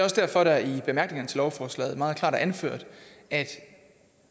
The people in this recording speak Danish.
også derfor at det i bemærkningerne til lovforslaget meget klart er anført at